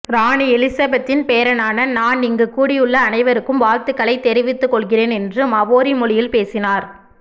ராணி எலிசபெத்தின் பேரனான நான் இங்கு கூடியுள்ள அனைவருக்கும் வாழ்த்துக்களை தெரிவித்துக் கொள்கிறேன் என்று மவோரி மொழியில் பேசினார்